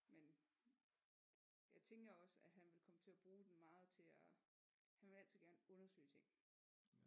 Men jeg tænker også at han vil komme til at bruge den meget til at han vil altid gerne undersøge ting